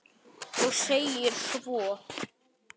Og segir svo